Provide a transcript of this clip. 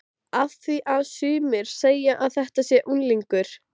Af því að sumir segja að þetta sé unglingur.